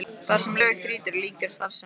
Þar sem lög þrýtur lýkur starfsemi hans.